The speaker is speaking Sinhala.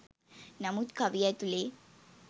නමුත් කවිය ඇතුළෙ